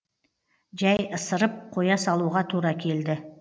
жәй ысырып қоя салуға тура келді